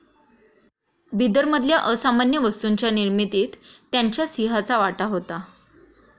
बिदरमधल्या असामान्य वस्तूंच्या निर्मितीत त्यांच्या सिंहाचा वाटा होता